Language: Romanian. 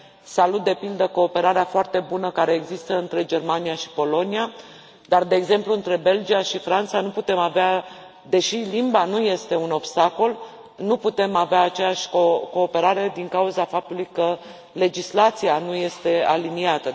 Salut, de pildă, cooperarea foarte bună care există între Germania și Polonia, dar, de exemplu, între Belgia și Franța, deși limba nu este un obstacol, nu putem avea aceeași cooperare din cauza faptului că legislația nu este aliniată.